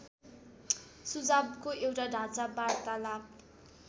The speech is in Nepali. सुझावको एउटा ढाँचा वार्तालाप